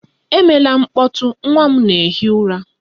Emela mkpọtụ! Nwa m na-ehi ụra